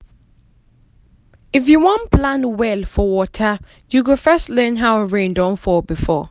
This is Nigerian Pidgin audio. if you wan plan well for water you go first learn how rain don fall before.